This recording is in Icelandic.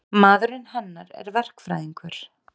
Maðurinn hennar er verkfræðingur.